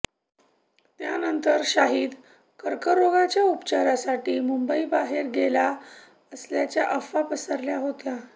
त्यानंतर शाहिद कर्क रोगाच्या उपचारासाठी मुंबई बाहेर गेला असल्याच्या अफवा पसरल्या होत्या